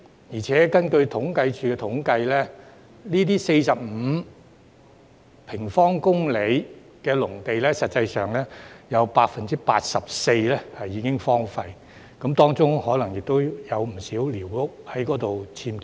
況且，根據政府統計處的統計，這45平方公里農地，實際上有 84% 已經荒廢，當中可能亦有不少僭建的寮屋。